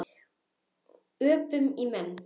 Öpum í menn.